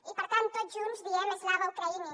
i per tant tots junts diem slava ukraini